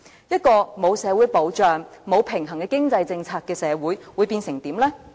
一個沒有社會保障、沒有平衡的經濟政策的社會會變成怎樣呢？